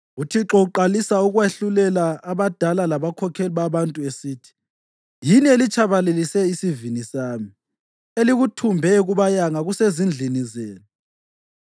UThixo uqalisa ukwahlulela abadala labakhokheli babantu esithi, “Yini elitshabalalise isivini sami; elikuthumbe kubayanga kusezindlini zenu.